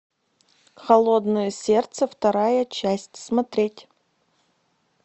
холодное сердце вторая часть смотреть